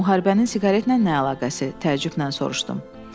Müharibənin siqaretlə nə əlaqəsi, təəccüblə soruşdum.